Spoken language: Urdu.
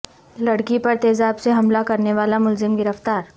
لڑکی پرتیزاب سے حملہ کرنے والا ملزم گرفتار